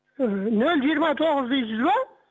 ыыы нөл жиырма тоғыз дейсіз ба